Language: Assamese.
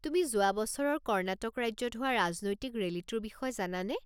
তুমি যোৱা বছৰৰ কৰ্ণাটক ৰাজ্যত হোৱা ৰাজনৈতিক ৰেলীটোৰ বিষয়ে জানানে?